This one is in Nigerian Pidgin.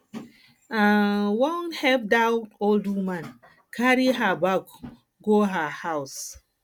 i um wan help dat old woman um carry her bag go um her house